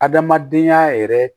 Adamadenya yɛrɛ